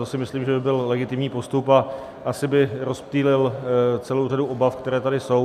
To si myslím, že by byl legitimní postup, a asi by rozptýlil celou řadu obav, které tady jsou.